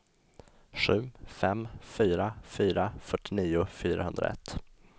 sju fem fyra fyra fyrtionio fyrahundraett